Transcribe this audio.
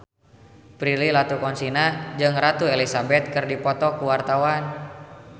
Prilly Latuconsina jeung Ratu Elizabeth keur dipoto ku wartawan